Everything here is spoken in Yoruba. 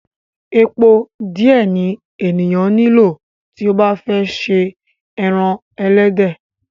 Epo díẹ̀ ni ènìyàn nílò tí ó bá fẹ́ se ẹran ẹlẹ́dẹ̀.